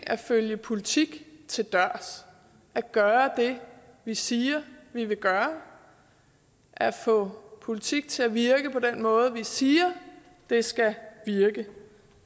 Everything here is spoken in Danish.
at følge politik til dørs at gøre det vi siger vi vil gøre at få politik til at virke på den måde vi siger det skal virke